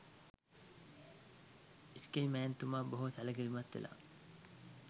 ඉස්කයි මෑන් තුමා බොහොම සැලකිලිමත් වෙලා